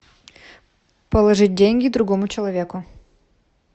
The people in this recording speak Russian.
положить деньги другому человеку